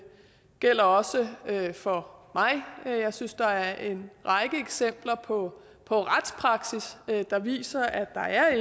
gælder også for mig jeg synes der er en række eksempler på på retspraksis der viser at